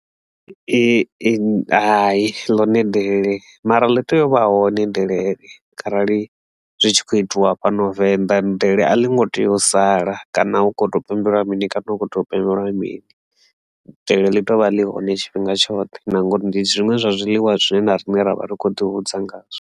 Ee, hai ḽone delele mara ḽi tea u vha hone delele kharali zwi tshi kho itiwa fhano Venḓa delele a ḽi ngo tea u sala kana hu tshi kho to pembelwa mini kana hu kho to pembelwa mini delele ḽi tovha ḽi hone tshifhinga tshoṱhe na ngori ndi zwiṅwe zwa zwiḽiwa zwine na rine ra vha ri kho ḓi hudza ngazwo.